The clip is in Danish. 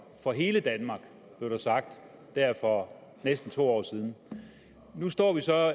for hele danmark blev der sagt for næsten to år siden nu står vi så